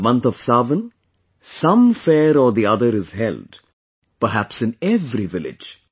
In the month of Sawan, some fair or the other is held, perhaps in every village